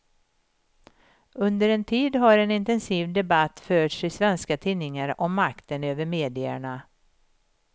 Under en tid har en intensiv debatt förts i svenska tidningar om makten över medierna.